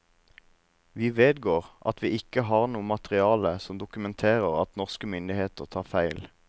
Vi vedgår at vi ikke har noe materiale som dokumenterer at norske myndigheter tar feil.